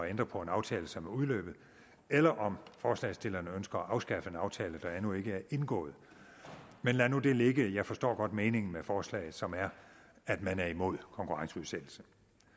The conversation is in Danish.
ændre på en aftale som er udløbet eller om forslagsstillerne ønsker at afskaffe en aftale der endnu ikke er indgået men lad nu det ligge jeg forstår godt meningen med forslaget som er at man er imod konkurrenceudsættelse